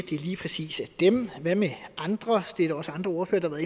lige præcis er dem hvad med andre det er der også andre ordførere